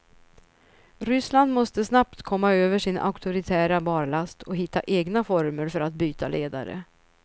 Ryssland måste snabbt komma över sin auktoritära barlast och hitta egna former för att byta ledare.